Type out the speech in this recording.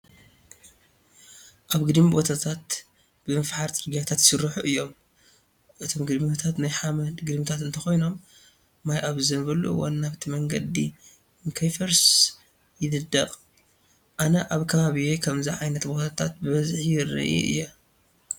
ኣብ ግድሚ ቦታታት ብምፍሓር ፅርግያታት ይስርሑ እዮም። እቶም ግድምታት ናይ ሓመድ ግድምታት እንተኾይኖም ማይ ኣብ ዝዘንበሉ እዋን ናብቲ መንገዲ ንከይፈርስ ይንደቅ። ኣነ ኣብ ከባቢየ ከምዚ ኣይነት ቦታትት በበዝሕ ይርኢ እየ።